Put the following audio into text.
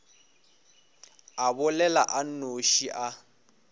a bolela a nnoši a